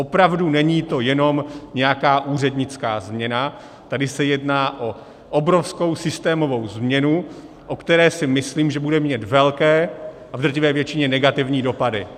Opravdu, není to jenom nějaká úřednická změna, tady se jedná o obrovskou systémovou změnu, o které si myslím, že bude mít velké a v drtivé většině negativní dopady.